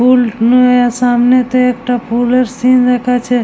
পুল নিয়ে সামনেতে একটা পুল এর সিন্ দেখাচ্ছে।